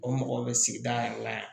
O mɔgɔw bɛ sigida yɛrɛ la yan